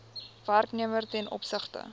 werknemer ten opsigte